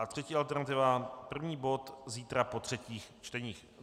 A třetí alternativa první bod zítra po třetích čtení.